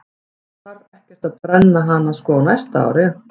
Það þarf ekkert að brenna hana sko á næsta ári.